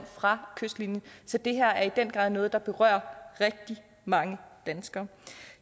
fra kystlinjen så det her er i den grad noget der berører rigtig mange danskere